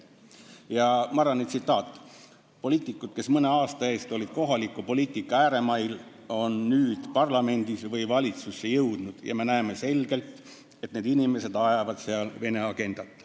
Ja Marrani tsitaat: "Poliitikud, kes mõne aasta eest olid kohaliku poliitika ääremail, on nüüd parlamenti või valitsusse jõudnud, ja me näeme selgelt, et need inimesed ajavad seal Vene agendat.